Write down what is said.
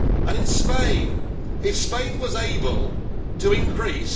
In Spain if Spain was able to increase...